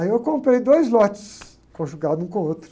Aí eu comprei dois lotes, conjugado um com o outro.